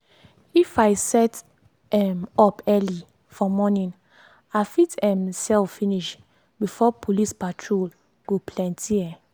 if i set um up early for morning i fit um sell finish before police patrol go plenty. um